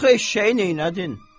Axı eşşəyi neylədin?